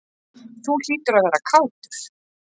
Þú hlýtur að vera kátur?